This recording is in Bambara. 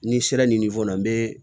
Ni n sera ma n bɛ